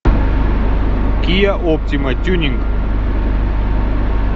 киа оптима тюнинг